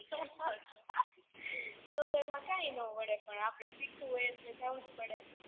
તો તો એમાં કઈ નો વડે પણ આપણે સુખવું હોય તો જવુંજ પડે